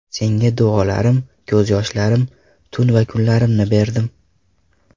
Senga duolarim, ko‘z yoshlarim, tun va kunlarimni berdim.